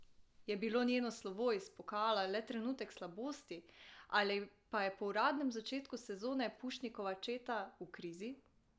Je bilo njeno slovo iz pokala le trenutek slabosti ali pa je po udarnem začetku sezone Pušnikova četa v krizi?